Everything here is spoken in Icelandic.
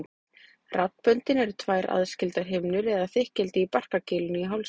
Raddböndin eru tvær aðskildar himnur eða þykkildi í barkakýlinu í hálsinum.